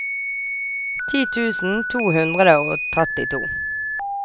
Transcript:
ti tusen to hundre og trettito